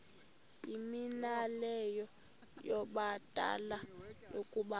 yimianelo yabadala yokaba